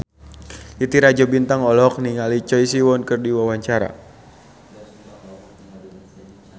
Titi Rajo Bintang olohok ningali Choi Siwon keur diwawancara